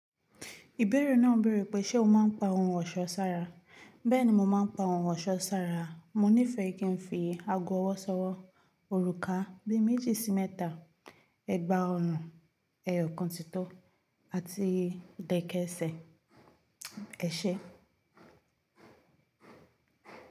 Ìbéèrè náà béèrè pé ṣe o máa ń pa ohun ọ̀ṣọ́ sára? Bẹ́ẹ̀ni mo máa ń pa ohun ọ̀ṣọ́ sára. Mo nífẹ̀ẹ́ kí n fi ago ọwọ́ sọ́wọ́, òrùka bi méjì sí mẹ́ta, ẹgba ọrùn, ẹyọ kan titọ́ àti ìdẹ̀kẹ̀sẹ̀. Ẹ̀ṣe.